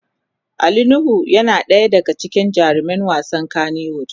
Ali nuhu yana daya daga cikin jaruman wasan kanny wood.